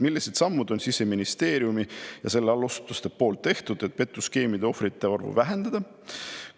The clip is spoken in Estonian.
Millised sammud on Siseministeeriumi ja selle allasutuste poolt tehtud, et petuskeemide ohvrite arvu vähendada?